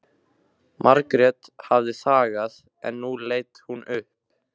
Margrét hafði þagað en nú leit hún upp.